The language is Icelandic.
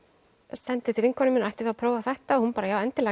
sendi til vinkonu minnar ættum við að prófa þetta og hún bara já endilega